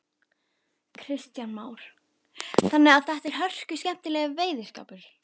Kristján Már: Þannig að þetta er hörkuskemmtilegur veiðiskapur?